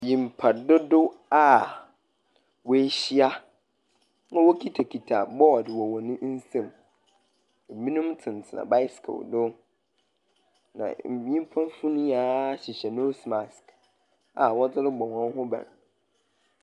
Nyimpa dodow a woehyia na wokitakita bɔɔdo wɔ hɔn nsam. Ebinom tsenatsena bicycle do, na nyimpafo no nyinaa hyehyɛ nose mask a wɔdze rebɔ hɔn ho ban.